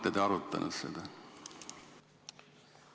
Olete te arutanud seda?